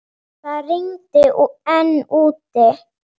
Það rigndi enn úti.